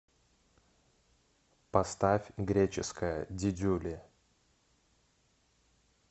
поставь греческая дидюли